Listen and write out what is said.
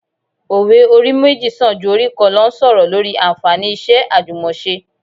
Òwe 'orí méjì sàn ju orí kan lọ' ń sọ̀rọ̀ lórí anfààní iṣẹ́ àjùmọse